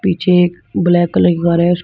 पीछे एक black colour कि कार है।